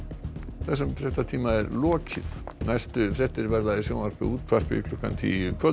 þessum fréttatíma er lokið næstu fréttir verða í sjónvarpi og útvarpi klukkan tíu í kvöld